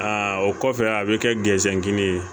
o kɔfɛ a bɛ kɛ gɛnkini ye